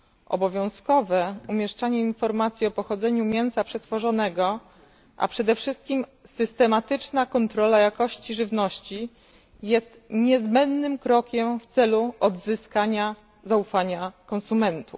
Obowiązkowe umieszczanie informacji o pochodzeniu mięsa przetworzonego, a przede wszystkim systematyczna kontrola jakości żywności jest niezbędnym krokiem w celu odzyskania zaufania konsumentów.